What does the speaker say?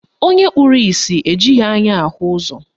Onye kpụrụ isi ejighị anya ahụ ụzọ